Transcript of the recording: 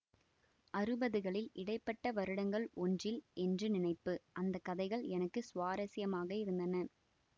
அறுபதுகளில் இடை பட்ட வருடங்கள் ஒன்றில் என்று நினைப்பு அந்த கதைகள் எனக்கு சுவாரசியமாக இருந்தன